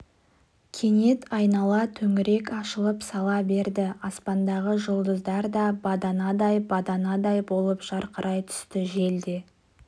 кенет айнала төңірек ашылып сала берді аспандағы жұлдыздар да баданадай баданадай болып жарқырай түсті жел де